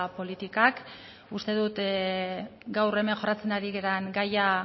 politikak uste dut gaur hemen jorratzen ari garen gaia